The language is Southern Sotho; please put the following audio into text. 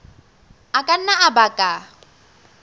a ka nna a baka